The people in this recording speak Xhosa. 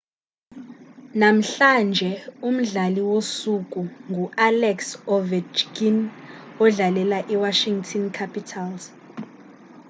namhlanje umdlali wosuku ngualex ovechkin odlalela iwashington capitals